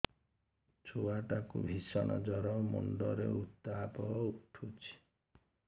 ଛୁଆ ଟା କୁ ଭିଷଣ ଜର ମୁଣ୍ଡ ରେ ଉତ୍ତାପ ଉଠୁଛି